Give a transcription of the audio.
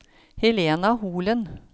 Helena Holen